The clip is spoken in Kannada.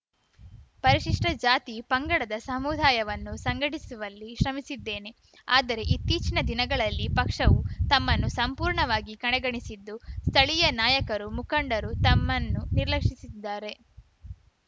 ಪರಿಶಿಷ್ಟಜಾತಿಪಂಗಡದ ಸಮುದಾಯವನ್ನು ಸಂಘಟಿಸುವಲ್ಲಿ ಶ್ರಮಿಸಿದ್ದೇನೆ ಆದರೆ ಇತ್ತೀಚಿನ ದಿನಗಳಲ್ಲಿ ಪಕ್ಷವು ತಮ್ಮನ್ನು ಸಂಪೂರ್ಣವಾಗಿ ಕಡೆಗಣಿಸಿದ್ದು ಸ್ಥಳೀಯ ನಾಯಕರು ಮುಖಂಡರು ತಮ್ಮನ್ನು ನಿರ್ಲಕ್ಷಿಸಿದ್ದಾರೆ